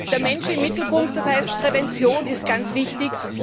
Der Mensch im Mittelpunkt, das heißt, Prävention ist ganz wichtig.